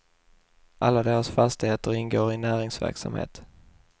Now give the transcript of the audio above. Alla deras fastigheter ingår i näringsverksamhet.